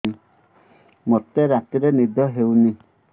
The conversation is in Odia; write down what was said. ମୋତେ ରାତିରେ ନିଦ ହେଉନି